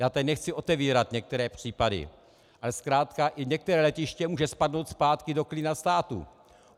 Já tady nechci otevírat některé případy, ale zkrátka i některé letiště může spadnout zpátky do klína státu.